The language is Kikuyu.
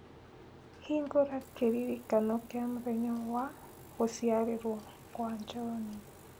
hingũra kĩririkano kĩa mũthenya wa gũciarwo kwa John